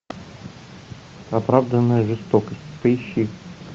оправданная жестокость поищи